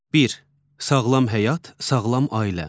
Bir: sağlam həyat, sağlam ailə.